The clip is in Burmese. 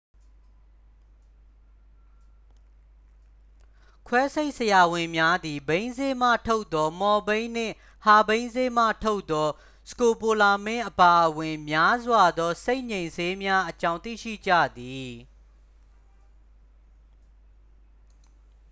ခွဲစိတ်ဆရာဝန်များသည် ဘိန်းစေ့မှထုတ်သော မော်ဖိန်းနှင့် ဟာဘိန်းစေ့မှထုတ်သော စကိုပိုလမင်း အပါအဝင် များစွာသော စိတ်ငြိမ်ဆေးများအကြောင်း သိရှိကြသည်